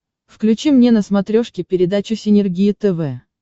включи мне на смотрешке передачу синергия тв